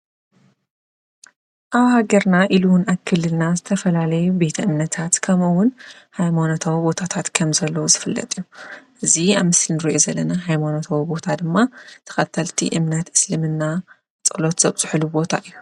አብ ሃገርና ኢሉ እውን አብክልልና ዝተፈላለዩ ቤተ እምነታት ከምኡ እውን ሃይማኖታዊ ቦታታት ከም ዘለው ዝፍለጥ እዩ፡፡ እዚ አብ ምስሊ እንሪኦ ዘለና ሃይማኖታዊ ቦታ ድማ ተከተልቲ እምነት እስልምና ፀሎት ዘብፅሕሉ ቦታ እዩ፡፡